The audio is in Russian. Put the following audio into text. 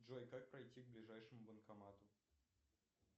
джой как пройти к ближайшему банкомату